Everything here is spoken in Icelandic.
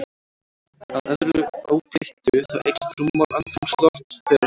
Að öðru óbreyttu, þá eykst rúmmál andrúmslofts þegar hiti hækkar.